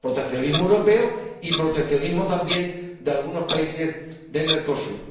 proteccionismo europeo y proteccionismo también de algunos países de Mercosur.